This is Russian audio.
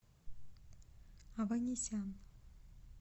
аванесян